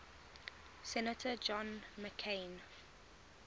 senator john mccain